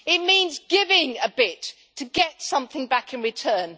It means giving a bit to get something back in return.